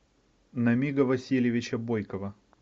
намига васильевича бойкова